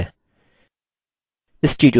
इस tutorial में हम सीखेंगे कि कैसे